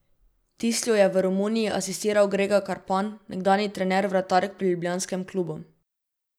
Tislju je v Romuniji asistiral Grega Karpan, nekdanji trener vratark pri ljubljanskem klubu.